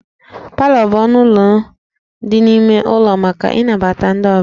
Palọ bụ ọnụ ụlọ dị n'ime ụlọ maka ịnabata ndị ọbịa